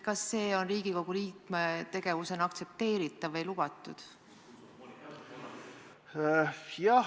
Kas see on Riigikogu liikme tegevusena aktsepteeritav või lubatud?